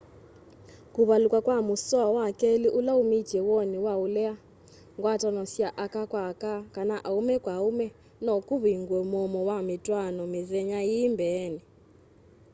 kuvaluka kwa musoa wa keli ula umitye woni wa ulea ngwatano sya aka kwa aka kana aume kwa aume no kuvingue muomo wa mitwaano mithenya ii mbeeni